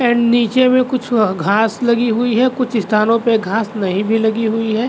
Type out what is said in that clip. And नीचे में कुछ औ घास लगी हुई है कुछ स्थानों पे घास नहीं भी लगी हुई है।